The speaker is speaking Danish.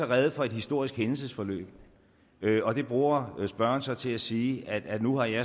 rede for et historisk hændelsesforløb og det bruger spørgeren så til at sige at nu har jeg